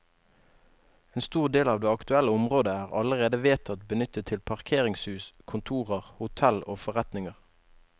En stor del av det aktuelle området er allerede vedtatt benyttet til parkeringshus, kontorer, hotell og forretninger.